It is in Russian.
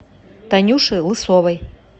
танюше лысовой